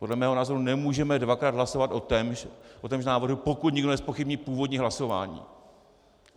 Podle mého názoru nemůžeme dvakrát hlasovat o témž návrhu, pokud nikdo nezpochybní původní hlasování.